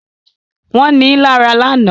Wọ́n ní lára lánàá